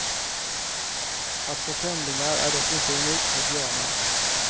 Att få femlingar är dock inte unikt för björnar.